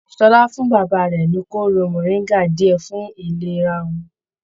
Ṣọlá fún bàbá rẹ ní kooro moringa diẹ fún ìlera wọn.